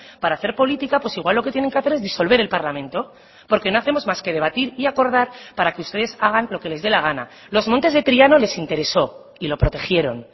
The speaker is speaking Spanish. para hacer política pues igual lo que tienen que hacer es disolver el parlamento porque no hacemos más que debatir y acordar para que ustedes hagan lo que les de la gana los montes de triano les interesó y lo protegieron